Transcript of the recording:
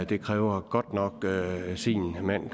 det kræver godt nok sin mand